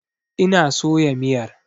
Ina soya miyar.